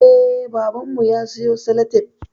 Eh, babanmu ya siyo salatif